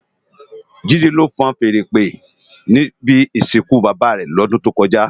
JIde ló fúùn fèèrè ìpè ni ibi isinkú bábá rè lòdùn tókòjá